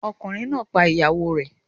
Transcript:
Ọkùnrin náà pa ìyàwó rẹ̀